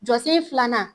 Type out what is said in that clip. Jɔsen filanan